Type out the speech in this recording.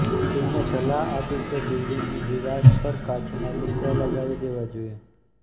ટીમે સલાહ આપી કે બિલ્ડિંગની દિવાસ પર કાંચના ટુકડા લગાવી દેવા જોઇએ